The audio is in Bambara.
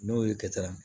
N'o ye kɛta